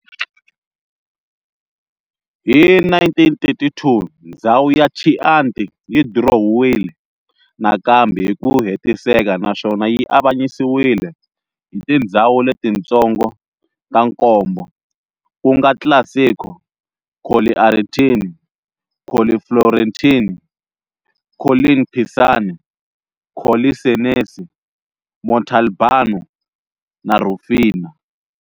Hi 1932 ndzhawu ya Chianti yi dirowiwile nakambe hiku hetiseka naswona yi avanyisiwile hi tindzhawu letintsongo ta nkombo-Classico, Colli Aretini, Colli Fiorentini, Colline Pisane, Colli Senesi, Montalbano na Rùfina.